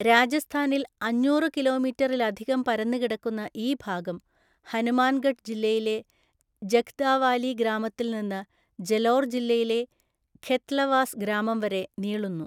രാജസ്ഥാനിൽ അഞ്ഞൂറു കിലോമീറ്ററിലധികം പരന്നുകിടക്കുന്ന ഈ ഭാഗം ഹനുമാൻഗഢ് ജില്ലയിലെ ജഖ്ദാവാലി ഗ്രാമത്തിൽ നിന്ന് ജലോർ ജില്ലയിലെ ഖെത്ലവാസ് ഗ്രാമം വരെ നീളുന്നു.